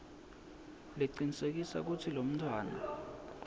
lecinisekisa kutsi lomntfwana